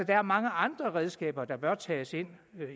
er mange andre redskaber der bør tages ind